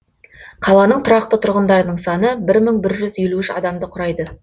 қаланың тұрақты тұрғындарының саны бір мың бір жүз елу үш адамды құрайды